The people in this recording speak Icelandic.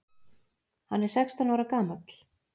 Hann er sextán ára gamall.